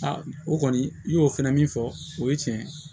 o kɔni i y'o fɛnɛ min fɔ o ye tiɲɛ ye